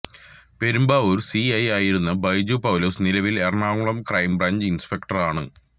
Perumbavoor CI ആയിരുന്ന ബൈജു പൌലോസ് നിലവിൽ Ernakulam crime branch ഇൻസ്പെക്ടറാണ്